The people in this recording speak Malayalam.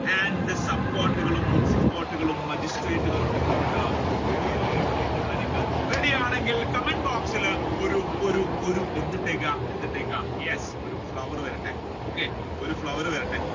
and Sub court, court, magistrate court കളും ഉണ്ട് ready അല്ലെ പറയുന്ന കാര്യങ്ങൾ ready ആണെങ്കിൽ comment boxil ഇൽ ഒരു ഒരു ഒരു എന്തിട്ടേക്കുക yes ഒരു flower വരട്ടെ okay ഒരു flower വരട്ടെ